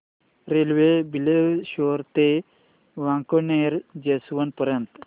railway Bileshwar ते Wankaner junction पर्यंत